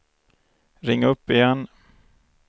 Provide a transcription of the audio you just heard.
ring upp igen